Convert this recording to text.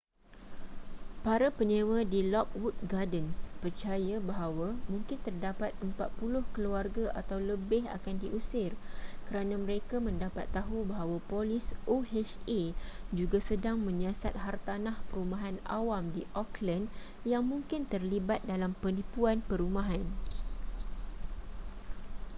para penyewa di lockwood gardens percaya bahawa mungkin terdapat 40 keluarga atau lebih akan diusir kerana mereka mendapat tahu bahawa polis oha juga sedang menyiasat hartanah perumahan awam di oakland yang mungkin terlibat dalam penipuan perumahan